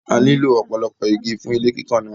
A nílò ọ̀pọ̀lọpọ̀ igi fún ilé kíkàn náà